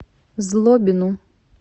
злобину